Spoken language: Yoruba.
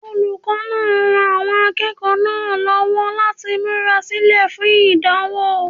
Olùkọ́ náà ran àwọn akẹ́kọ̀ọ́ náà lọ́wọ́ láti múra sílẹ̀ fún ìdánwò.